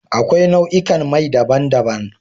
Akwai nau'ikan mai daban-daban.